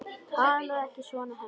Talaðu ekki svona, Hemmi!